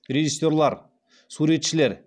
режиссерлар суретшілер